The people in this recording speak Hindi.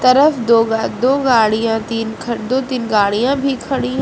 तरफ दो गा दो गाड़ियां तीन ख दो - तीन गाड़ियां भी खड़ी हैं।